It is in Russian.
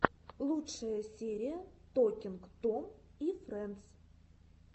лучшая серия токинг том и фрэндс